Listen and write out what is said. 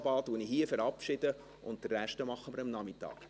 Ab 11.20 Uhr verabschiede ich hier, und den Rest machen wir am Nachmittag.